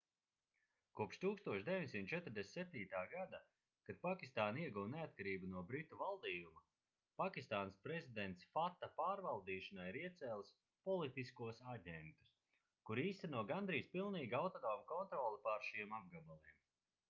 kopš 1947. gada kad pakistāna ieguva neatkarību no britu valdījuma pakistānas prezidents fata pārvaldīšanai ir iecēlis politiskos aģentus kuri īsteno gandrīz pilnīgi autonomu kontroli pār šiem apgabaliem